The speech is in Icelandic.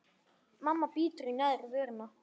Mamma bítur í neðri vörina.